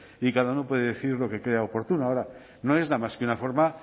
y que cada uno puede decir lo que crea oportuno ahora no les da más que una forma